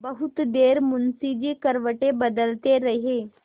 बहुत देर मुंशी जी करवटें बदलते रहे